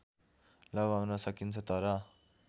लगाउन सकिन्छ तर